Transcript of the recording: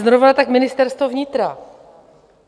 Zrovna tak Ministerstvo vnitra.